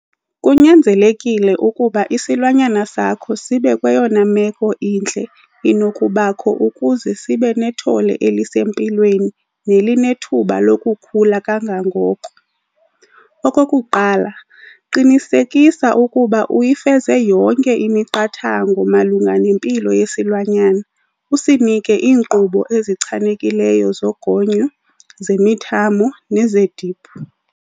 Kunyanzelekile ukuba isilwanyana sakho sibe kweyona meko intle inokubakho ukuze sibe nethole elisempilweni nelinethuba lokukhula kangangoko. Okokuqala, qinisekisa ukuba uyifeze yonke imiqathango malunga nempilo yesilwanyana - usinike iinkqubo ezichanekileyo zogonyo, zemithamo nezeediphu.